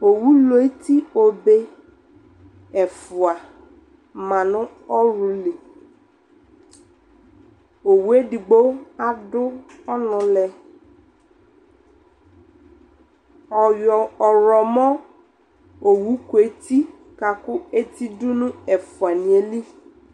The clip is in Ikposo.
ɔwʋ lʋ ɛti ɔbɛ ɛƒʋa manʋ ɔlʋ li, ɔwʋɛ ɛdigbɔ adʋ ɔnʋ lɛ ɔyɔ ɔwlɔmɔ ɔwʋ kʋ ɛti kakʋ ɛti dʋnʋ ɛƒʋaniɛ li